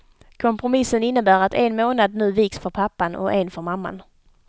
Kompromissen innebär att en månad nu viks för pappan och en för mamman.